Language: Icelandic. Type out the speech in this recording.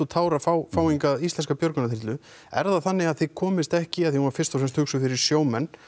tár að fá fá hingað íslenska björgunarþyrlu er það þannig að þið komist ekki því hún var fyrst og fremst hugsuð fyrir sjómenn